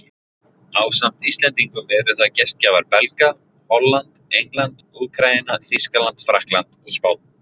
Ásamt Íslendingum eru það gestgjafar Belga, Holland, England, Úkraína, Þýskaland, Frakkland og Spánn.